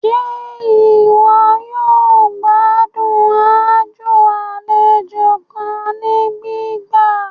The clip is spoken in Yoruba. Ṣe iwọ yoo gbadun ajọ aladun kan ni gbigba?